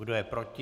Kdo je proti?